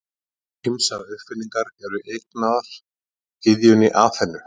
Ýmsar uppfinningar eru eignaðar gyðjunni Aþenu.